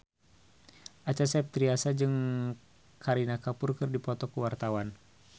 Acha Septriasa jeung Kareena Kapoor keur dipoto ku wartawan